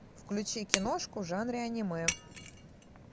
включи киношку в жанре аниме